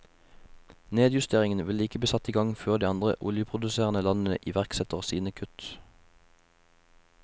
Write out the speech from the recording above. Nedjusteringen vil ikke bli satt i gang før de andre oljeproduserende landene iverksetter sine kutt.